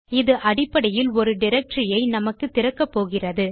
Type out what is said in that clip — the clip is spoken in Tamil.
இது அடிப்படையில் ஒரு டைரக்டரி ஐ நமக்கு திறக்கப்போகிறது